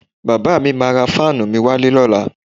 Bàbá mi máa ra fáànù mi wálé lọ́la